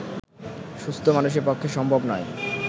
সুস্থ্ মানুষের পক্ষে সম্ভব নয়